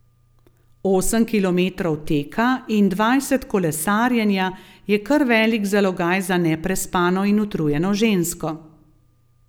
Osem kilometrov teka in dvajset kolesarjenja je kar velik zalogaj za neprespano in utrujeno žensko.